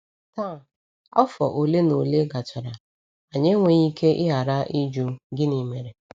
Taa, afọ ole na ole gachara, anyị enweghị ike ịghara ịjụ: ‘Gịnị mere?’